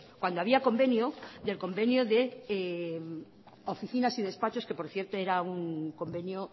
cuando había convenio del convenio de oficinas y despachos que por cierto era un convenio